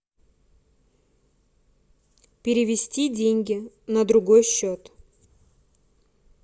перевести деньги на другой счет